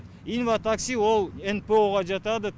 инватакси ол нпо ға жатады